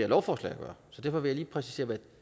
lovforslag at gøre så derfor vil jeg lige præcisere hvad